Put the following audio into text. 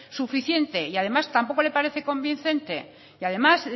suficiente y además tampoco le parece convincente y además